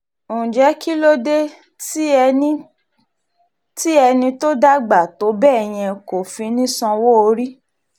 ǹjẹ́ kí ló dé tí ẹni tó dàgbà tó bẹ́ẹ̀ yẹn kò fi ní í sanwó-orí